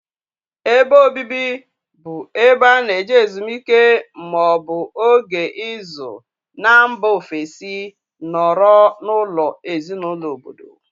Ébé obibi bụ ebe ana eje ezumike maọbu ógè ịzụ n' mba ofesi nọrọ n' ụlọ ezinụlọ ọbọdọ.